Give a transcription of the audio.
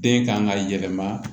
Den kan ka yɛlɛma